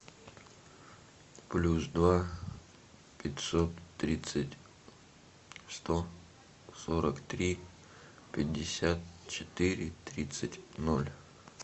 плюс два пятьсот тридцать сто сорок три пятьдесят четыре тридцать ноль